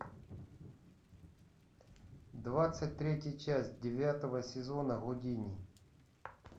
двадцать третья часть девятого сезона гудини